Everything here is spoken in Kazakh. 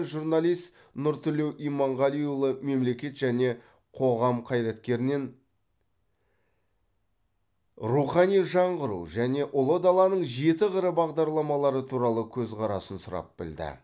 журналист нұртілеу иманғалиұлы мемлекет және қоғам қайраткерінен рухани жаңғыру және ұлы даланың жеті қыры бағдарламалары туралы көзқарасын сұрап білді